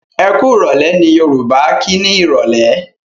Ẹkúrọ̀lẹ́! ni Yorùbá kí ni Ìrọ̀lẹ́.